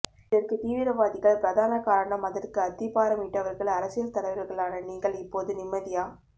இதற்கு தீவிர வாதிகள் பிரதான காரணம் அதற்கு அத்திபாரம் இட்டவர்கள் அரசியல் தலைவர்களான நீங்கள் இப்போது நிம்மதியா